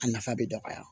A nafa bɛ dɔgɔya